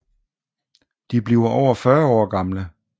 De bliver over 40 år gamle